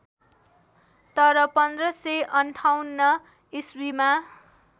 तर १५५८ इस्वीमा